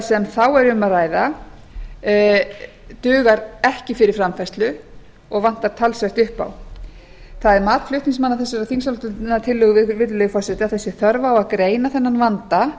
sem þá er um að ræða dugar ekki fyrir framfærslu og vantar talsvert upp á það er mat flutningsmanna þessarar þingsályktunartillögu virðulegi forseti að það sé þörf á að greina þennan vanda